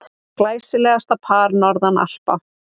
Glæsilegasta par norðan Alpa.